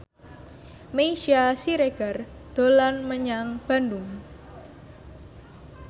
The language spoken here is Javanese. Meisya Siregar dolan menyang Bandung